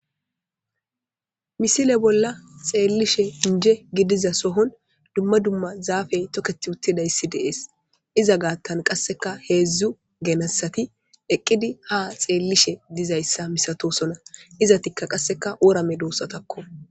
Misile bolla xelishn inje gidiza sohon dumma dumma zaafey toketi utidaysi de'es,iza gathan qaseka hezdzdu genesat eqid ha xelishe dizaysa misatosona, izetika qaseka wora medosatako.